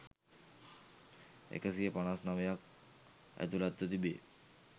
එකසිය පනස් නවයක් ඇතුළත්ව තිබේ